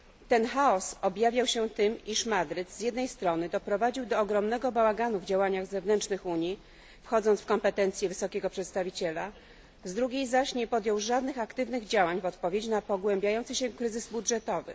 Ten chaos objawiał się tym, iż Madryt z jednej strony doprowadził do ogromnego bałaganu w działaniach zewnętrznych Unii, wchodząc w kompetencje Wysokiego Przedstawiciela, z drugiej zaś nie podjął żadnych aktywnych działań w odpowiedzi na pogłębiający się kryzys budżetowy.